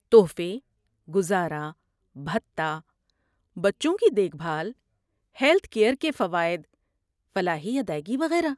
تحفے، گزارا بھتہ، بچوں کی دیکھ بھال، ہیلتھ کیر کے فوائد، فلاحی ادائیگی وغیرہ۔